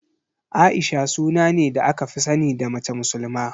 A'isha suna ne da aka fi sani da mace musulma.